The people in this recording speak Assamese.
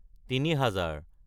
তিনি হেজাৰ